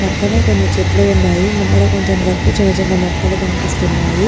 పక్కనే కొన్ని చెట్లు ఉన్నాయిముందర కొంచం గడ్డి చిన్న చిన్న మొక్కలు కనిపిస్తున్నాయి.